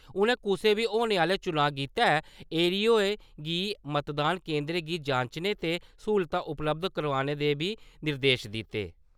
उनें कुसै बी होने आह्‌ले चुनांऽ गित्तै ऐरोएं गी मतदान केंदरें गी जांचने ते सहूलतां उपलब्ध कराने दे बी निर्देश दित्ते ।